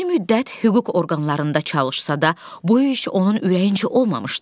Bir müddət hüquq orqanlarında çalışsa da, bu iş onun ürəyincə olmamışdı.